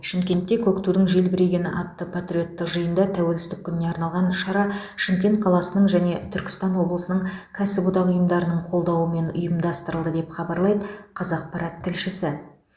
шымкентте көк тудың желбірегені атты патриоттық жиында тәуелсіздік күніне арналған шара шымкент қаласының және түркістан облысының кәсіподақ ұйымдарының қолдауымен ұйымдастырылды деп хабарлайды қазақпарат тілшісі